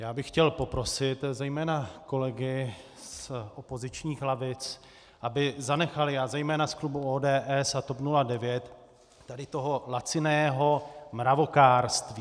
Já bych chtěl poprosit zejména kolegy z opozičních lavic, aby zanechali - a zejména z klubu ODS a TOP 09 - tady toho laciného mravokárství.